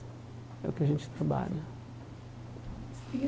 É o que a gente trabalha.